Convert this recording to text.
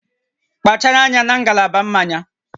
Kpachara anya na ngalaba mmanya